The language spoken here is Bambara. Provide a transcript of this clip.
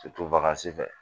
fɛ